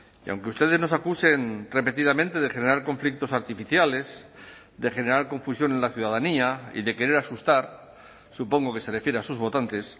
y aunque ustedes nos acusen repetidamente de generar conflictos artificiales de generar confusión en la ciudadanía y de querer asustar supongo que se refiere a sus votantes